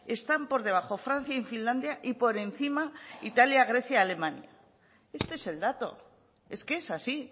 están por debajo francia y finlandia y por encima italia grecia y alemania este es el dato es que es así